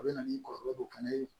A bɛ na ni kɔlɔlɔ dɔ fana ye